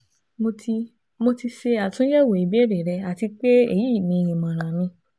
Mo ti Mo ti ṣe atunyẹwo ibeere rẹ ati pe eyi ni imọran mi